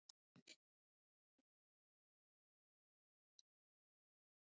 Jú, sagði hann.